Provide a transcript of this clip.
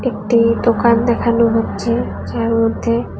একটি দোকান দেখানো হচ্ছে যার মধ্যে--